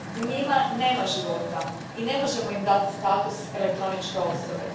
U njima nema života i ne možemo im dati status elektroničke osobe.